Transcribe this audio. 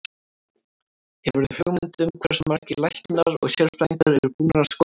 Hefurðu hugmynd um hversu margir læknar og sérfræðingar eru búnir að skoða hana?